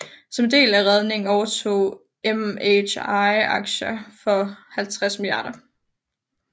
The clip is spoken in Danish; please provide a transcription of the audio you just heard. Som en del af redningen overtog MHI aktier for 50 mia